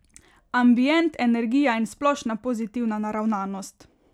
Ambient, energija in splošna pozitivna naravnanost.